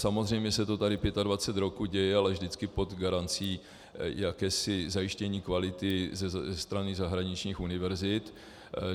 Samozřejmě se to tady 25 roků děje, ale vždycky pod garancí jakéhosi zajištění kvality ze strany zahraničních univerzit.